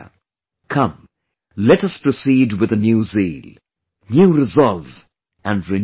Come, let us proceed with a new zeal, new resolve and renewed strength